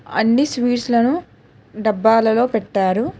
అన్ని స్వీట్స్ లను డబ్బాలలో పెట్టారు.